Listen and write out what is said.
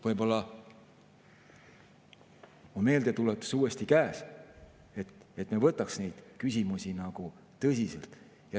Võib-olla on meeldetuletus käes, et me võtaks neid küsimusi tõsiselt.